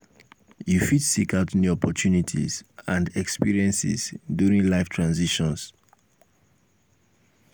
you fit seek out new opportunities and experiences during life um transitions.